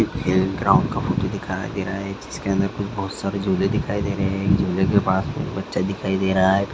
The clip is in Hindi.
एक ग्राउंड फोटो दिखाई दे रहा है जिसके अंदर कुछ बहुत सारे झूले दिखाई दे रहे है झूले के पास में एक बच्चा दिखाई दे रहा है।